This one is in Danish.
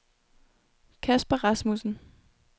Kasper Rasmussen